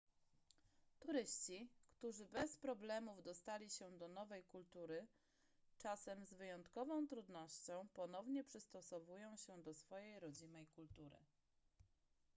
turyści którzy bez problemów dostosowali się do nowej kultury czasem z wyjątkową trudnością ponownie przystosowują się do swojej rodzimej kultury